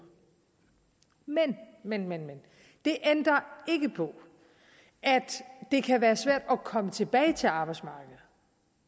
men men men det ændrer ikke på at det kan være svært at komme tilbage til arbejdsmarkedet